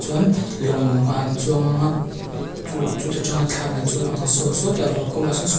chuan lawngah an chuang ang a chu chuta ṭanga thla la chu a ang a saw sawtah vaukamah sawn sku--